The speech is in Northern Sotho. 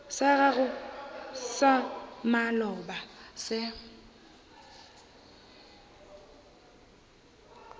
sa gago sa maloba se